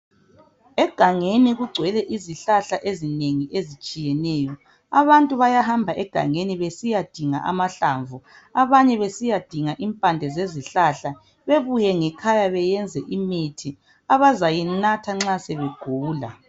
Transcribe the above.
Egangeni kugcwele izihlahla ezinengi ezitshiyeneyo abantu bayahamba egangeni besiyadinga amahlamvu, abanye besiya dinga impande zezihlahla bebuye ngekhaya beyenze imithi abazayinatha nxa sebegula.